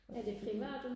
og det er fordi